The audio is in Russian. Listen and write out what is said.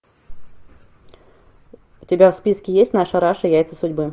у тебя в списке есть наша раша яйца судьбы